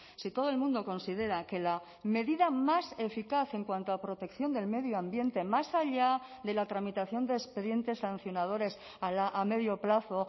si todo el mundo considera que la medida más eficaz en cuanto a la protección del medio ambiente más allá de la tramitación de expedientes sancionadores a medio plazo